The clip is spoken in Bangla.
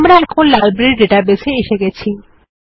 আমরা এখন লাইব্রেরী ডেটাবেস এ এসে গেছি